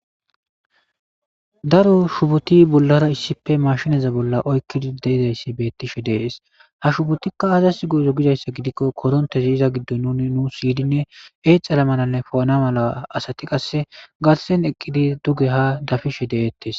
Daro shuboti bollara issippeashineza bolla oykid de'izaysi betishe de'es, ha shubotika azasi go'izo gizaysa gidikon korontezi iza gidon nun nus yidine exana malanne po'ana mala asati qase garsen eqidi duge ha dafishe de'etes,